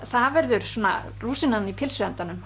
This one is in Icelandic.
það verður rúsínan í pylsuendanum